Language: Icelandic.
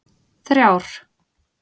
þrjár